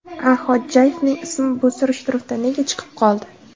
A. Xodjayevning ismi bu surishtiruvda nega chiqib qoldi?